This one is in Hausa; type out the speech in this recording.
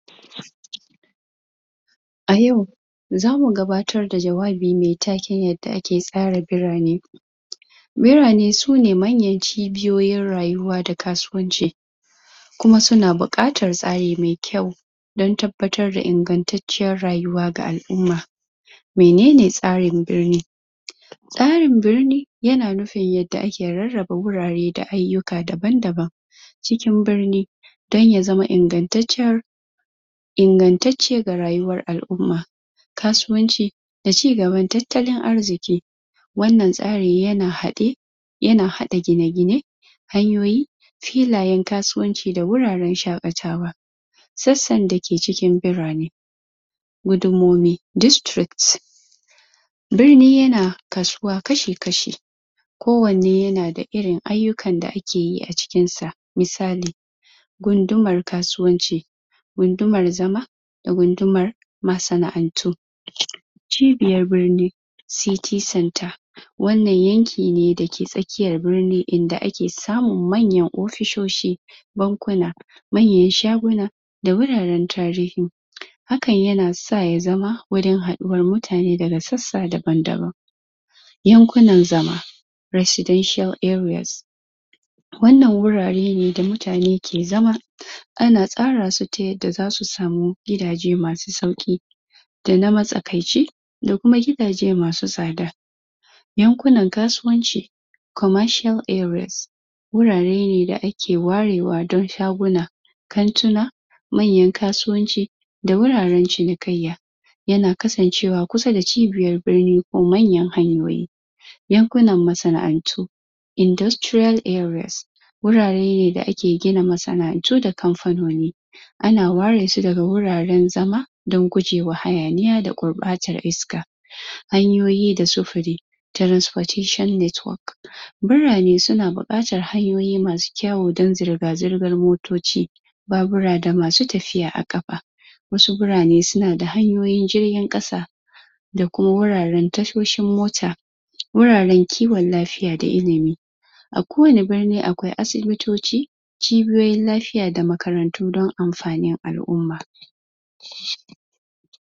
A yau zamu gabatar da jawabimai taken yadda ake tsara birane Birane sune manyan cibiyoyoin rayuwa da kasuwanci kuma suna buƙatar tsari mai kyau din tabbatar da ingantaciyar rayuwa ga al'umma menene tsarin birni? tsarin birni yana nufin yadda ake rarraba wurare da ayyuka dabab daban cikin birni don ya zama ingantaccen ingantacce ga rayuwan al'umma kasuwanci da cigaban tattalin arziki wannan tsari yana haɗe yana haɗa gine-gine hanyoyi filayen kasuwanci da wuraren shaƙatawa sassan da ke cikin birane gundumomi (districts) birni yana kasuwa kashi kashi ko wanne yana da irin ayyukan da ake yi a cikin sa misali gundumar kasuwanci gundumar zama da gundumar masana'antu cibiyar birni (city centre) wannan yanki ne dake tsakiyar birni idan ake samun manyan ofisoshi Bankuna manyan shaguna da wuraren tarihi hakan yana sa ya zama wurin haɗuwar mutane daga sassa daban daban yankunan zama (residential areas) wannan wurare ne da mutane ke zama ana tsara su ta yadda zasu samu gidaje masu sauƙi da na matsakaici da kuma gidaje masu tsada yankunan kasuwanci (commercial areas) wurare da ake warewa don shaguna kantuna manyan kasuwanci da wuraren cinikayya yana kasancewa kusa da cibiyar birni ko manyan hanyoyi yankunan masana'antu (industrial areas) wurare ne da ake gina masana'antu da kamfanoni ana ware su daga wuraren zama don gujewa hayaniya da gurɓacewar iska hanyoyi da sufuri (transportation network) birane suna buƙatar hanyoyi masu kyawu don zirga zirgan motoci babura da masu tafiya a ƙafa wasu birane suna da hanyoyin jirgin ƙasa da kuma wuraren tashoshin mota wuraren kiwon lafiya da ilimi ko wani birni akwai asibitoci cibiyoyin lafiya da makarantu don amfanin al'umma